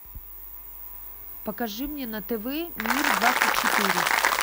покажи мне на тв мир двадцать четыре